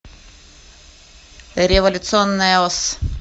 революционная ос